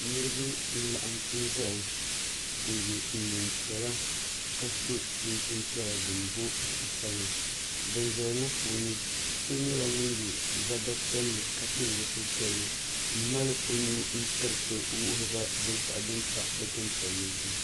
Niriba n-laɣim zaya n-ye neem'piɛla ka so chinchini piɛla din booi zaɣ'sabila ban zaya ŋɔ puuni so nyɛla ŋun ye zama piɛlli ka pili zipili piɛlli m-mali o nuu tiriti wuhiri binshɛɣu din pa dukpuni piɛlli zuɣu.